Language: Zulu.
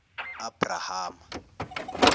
abrahama